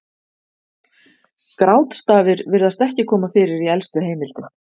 Grátstafir virðist ekki koma fyrir í elstu heimildum.